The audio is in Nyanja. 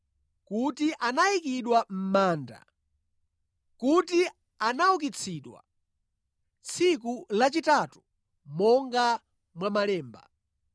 kuti anayikidwa mʼmanda, kuti anaukitsidwa tsiku lachitatu monga mwa Malemba;